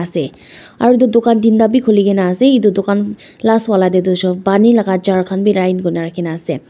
ase aro edu dukan teenta bi khulikae na ase edu dukan last wala tae tu pani laka jar khan bi line kurina ase.